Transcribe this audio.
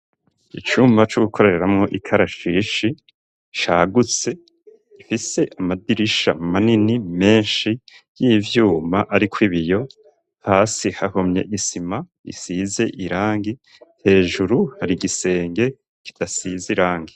Icuma c'ugukoreramwo ikarashishi sagutse ifise amadirisha manini menshi y'ivyuma, ariko ibiyo hasi hahumye isima isize irangi hejuru hari igisenge kidasize irange.